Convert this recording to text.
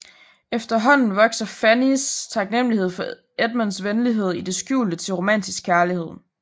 Efterhånden vokser Fannys taknemlighed for Edmunds venlighed i det skjulte til romantisk kærlighed